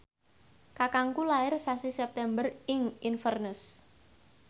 kakangku lair sasi September ing Inverness